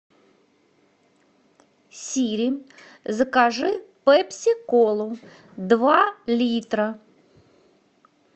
сири закажи пепси колу два литра